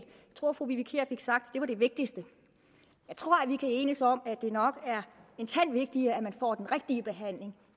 tror at fru vivi kier fik sagt at det var det vigtigste jeg tror at vi kan enes om at det nok er en tand vigtigere at man får den rigtige behandling